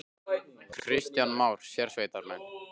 Kristján Már: Sérsveitarmenn?